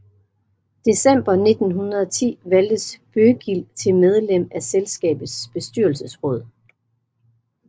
December 1910 valgtes Bøggild til medlem af selskabets bestyrelsesråd